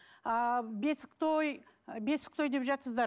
ааа бесік той бесік той деп жатырсыздар